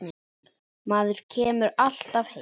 Maður kemur alltaf heim aftur